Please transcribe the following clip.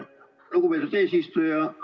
Lugupeetud eesistuja!